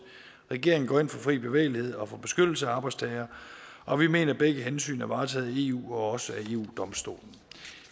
regeringen går ind for fri bevægelighed og for beskyttelse af arbejdstagere og vi mener at begge hensyn er varetaget i eu og også af eu domstolen